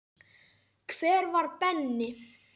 Hver var Benni?